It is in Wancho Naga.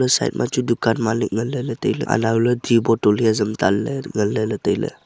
side ma chu dukan malik ngan le la taile anau le ti bottle hiya jangtan le la ngan le la taile.